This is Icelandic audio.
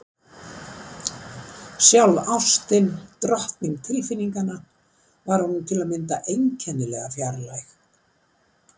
Sjálf ástin, drottning tilfinninganna, var honum til að mynda einkennilega fjarlæg.